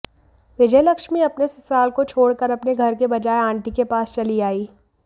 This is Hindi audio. विजयालक्ष्मी अपने ससुराल को छोड़ कर अपने घर के बजाए आंटी के पास चली आईं